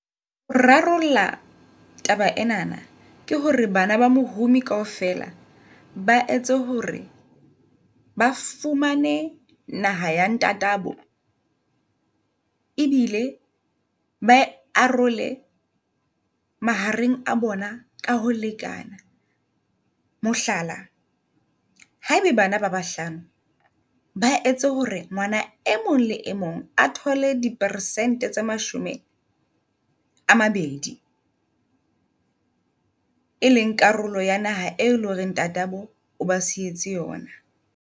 Rarollla taba enana ke hore bana ba mohumi kaofela ba etse hore ba fumane naha ya ntata bo. E bile bae arole mahareng a bona ka ho lekana. Mohlala, haebe bana ba bahlano ba etse hore re ngwana e mong le e mong a thole di persente tse mashome a mabedi, e leng karolo ya naha e leng hore ntate abo o ba sietse yona.